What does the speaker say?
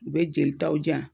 U bɛ jelitaw di yan